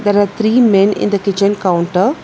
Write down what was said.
There are three men in the kitchen counter.